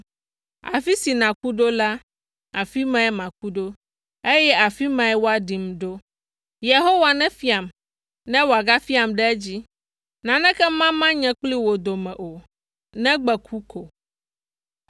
Afi si nàku ɖo la, afi mae maku ɖo, eye afi mae woaɖim ɖo. Yehowa nefiam, ne wòagafiam ɖe edzi. Naneke mama nye kple wò dome o, negbe ku ko.”